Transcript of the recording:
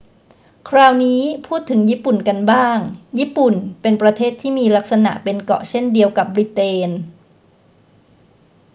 คราวนี้พูดถึงญี่ปุ่นกันบ้าง ญี่ปุ่นเป็นประเทศที่มีลักษณะเป็นเกาะเช่นเดียวกับบริเตน